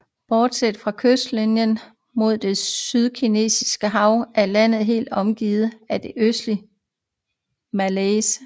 Bortset fra kystlinjen mod det Sydkinesiske Hav er landet helt omgivet af det østlige Malaysia